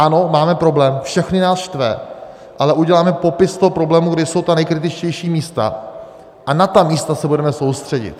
Ano, máme problém, všechny nás štve, ale uděláme popis toho problému, kde jsou ta nejkritičtější místa, a na ta místa se budeme soustředit.